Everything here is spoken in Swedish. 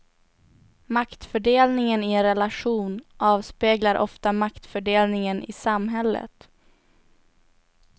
Maktfördelningen i en relation avspeglar ofta maktfördelningen i samhället.